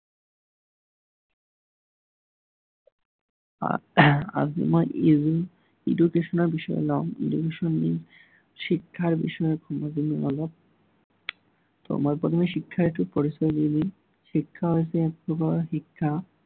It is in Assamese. আহ আজি মই edu~education ৰ বিষয়ে লম। education শিক্ষাৰ বিষয়ে কম অলপ। ত' মই প্ৰথমে শিক্ষাৰ্থীৰ পৰিচয় দি দিম। শিক্ষা হৈছে এক প্ৰকাৰৰ শিক্ষা